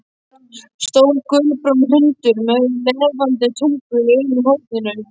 Stór, gulbrúnn hundur með lafandi tungu í einu horninu.